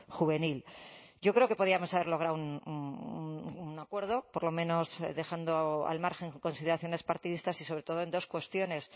juvenil yo creo que podíamos haber logrado un acuerdo por lo menos dejando al margen consideraciones partidistas y sobre todo en dos cuestiones